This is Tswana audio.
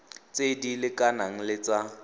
tse di lekanang le tsa